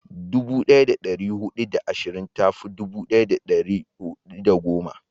dubu daya da dari hudu da ashirin ta fi dubu daya da dari hudu da goma